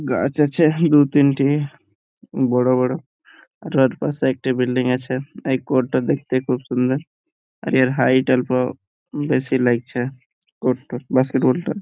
গাছ আছে দু তিনটি বড় বড় | আর ওর পাশে একটি বিল্ডিং আছে | এই কোর্ট -টা দেখতে খুব সুন্দর | আর এর হাইট অল্প বেশি লাগছে | কোর্ট -টা বাস্কেট বল টা --